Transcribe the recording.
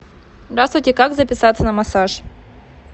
здравствуйте как записаться на массаж